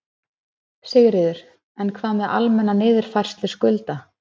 Sigríður: En hvað með almenna niðurfærslu skulda?